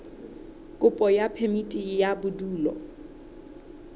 kopo ya phemiti ya bodulo